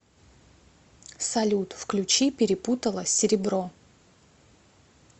салют включи перепутала серебро